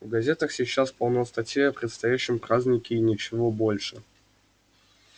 в газетах сейчас полно статей о предстоящем празднике и ничего больше